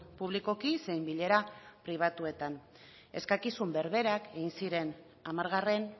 publikoki zein bilera pribatuetan eskakizun berberak egin ziren hamargarren